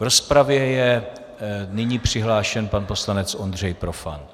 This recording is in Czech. V rozpravě je nyní přihlášen pan poslanec Ondřej Profant.